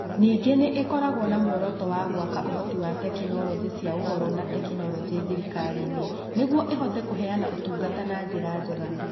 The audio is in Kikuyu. Ningĩ nĩ ĩkoragwo na muoroto wa gwaka ũhoti wa tekinoronjĩ cia Ũhoro na Teknoroji thirikari-inĩ nĩguo ĩhote kũheana ũtungata na njĩra njega.